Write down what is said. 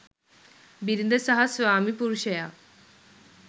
බිරිඳ සහ ස්වාමි පුරුෂයා